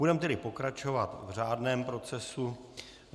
Budeme tedy pokračovat v řádném procesu.